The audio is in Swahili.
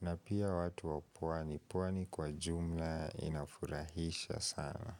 na pia watu wa pwani, pwani kwa jumla inafurahisha sana.